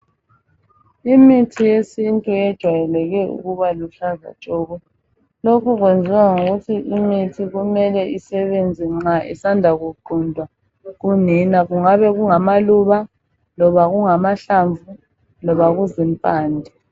Imithi yesintu ejwayele ke ukuba aluhlaza tshoko. Lokhu kwenziwa yikuthi kumele isebenze nxa isandla kuquntwa kunina. Kungabe kungamaluba, loba amahlamvu, loba impande.